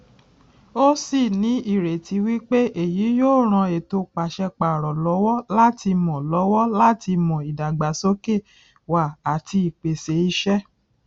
ó sì ní ìrètí wípé èyí yóò ran ètò pàṣẹ párọ lọwọ láti mọ lọwọ láti mọ ìdàgbàsókè wá àti pèsè ìṣe